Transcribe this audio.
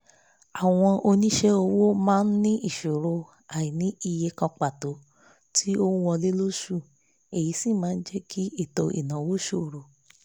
àwọn onísẹ́ ọwọ́ máa ní ìṣòro àìní iye kan pàtó tí ó wọlé lóṣù èyí sì máa jẹ́ kí ètò ìnáwó sòro